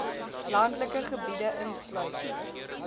landelike gebiede insluit